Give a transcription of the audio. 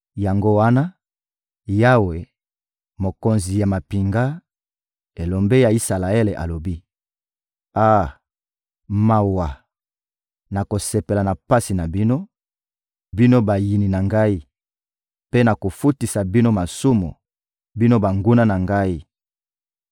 Yango wana, Yawe, Mokonzi ya mampinga, Elombe ya Isalaele alobi: Ah, mawa! Nakosepela na pasi na bino, bino bayini na Ngai; mpe nakofutisa bino masumu, bino banguna na Ngai!